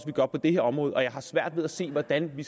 vi gør på det her område og jeg har svært ved at se hvordan vi